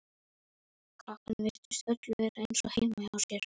Krakkarnir virtust öll vera eins og heima hjá sér.